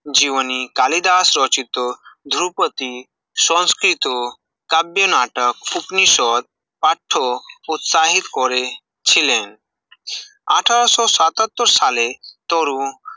জীবনী কালিদাস রচিত ধ্রুপতি সংস্কৃত কাব্য নাটক উপনিশ্বর পার্থ প্রত্যাহিত করে ছিলেন আঠারোশো সাতাত্তর সালে তরু